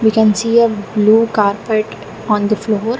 We can see a blue carpet on the floor.